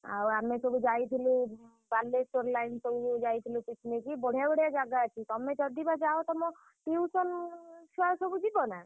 ଆଉ ଆମେ ସବୁ ଯାଇଥିଲୁ ବାଲେଶ୍ୱର line ସବୁ ଯାଇଥିଲୁ picnic ବଢିଆ ବଢିଆ ଜାଗା ଅଛି। ତମେ ଯଦି ବି ଯାଅ ତମ tuition ଛୁଆ ସବୁ ଯିବନା?